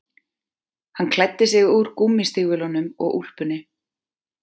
Hann klæddi sig úr gúmmístígvélunum og úlpunni